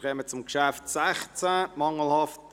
Wir kommen zum Traktandum 16: «